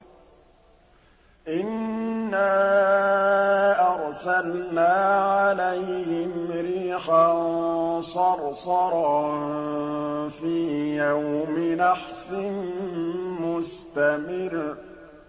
إِنَّا أَرْسَلْنَا عَلَيْهِمْ رِيحًا صَرْصَرًا فِي يَوْمِ نَحْسٍ مُّسْتَمِرٍّ